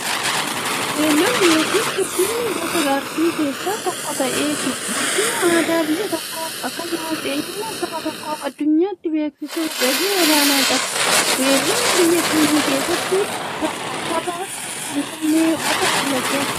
Weelluun yookin shubbifni gosa aartii keessaa tokko ta'ee, guddina aadaa biyya tokkoof akkasumas eenyummaa saba tokkoo addunyyaatti beeksisuuf gahee olaanaa qaba. Weelluun biyya keenyaa keessaa tokko tapha kumkummee warra wallaggaati.